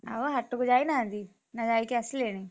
ଆଉ ହାଟକୁ ଯାଇନ ଆଜି? ନା ଯାଇକି ଆସିଲେଣି?